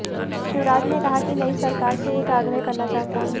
शिवराज ने कहा कि नई सरकार से एक आग्रह करना चाहता हूं